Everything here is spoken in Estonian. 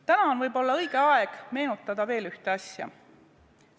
Täna on võib-olla õige aeg meenutada veel ühte asja.